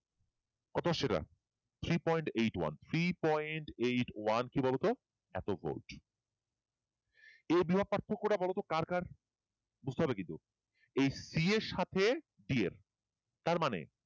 কত আসছে এটা three point eight one three point eight one কি বলত এত ভোল্ট এই বিভব পার্থক্য টা বলতো কার কার বুঝতে হবে কিন্তু এই c এর সাথে d এর তারমানে